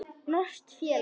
Norskt félag.